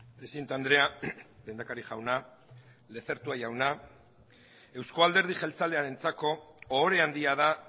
presidente andrea lehendakari jauna lezertua jauna euzko alderdi jeltzalearentzako ohore handia da